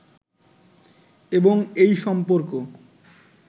এবং এই সম্পর্ক